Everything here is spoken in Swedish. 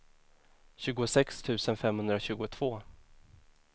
tjugosex tusen femhundratjugotvå